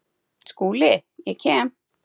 SKÚLI: Ég kem.